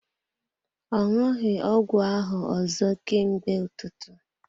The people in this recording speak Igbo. Ọ ṅụghi ọgwụ ahụ ọzọ ka mgbe ụtụtụ.